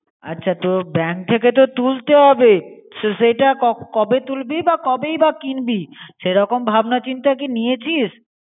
আচ্ছা তো bank ঠিকে তো তুলতে হবে. সেটা কবে তুলবি বা কবেই বা কিনবি. সেরকম ভাবনা চিন্তা কী নিয়েছিস